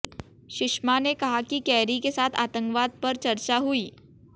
सुषमा ने कहा कि केरी के साथ आतंकवाद पर चर्चा हुई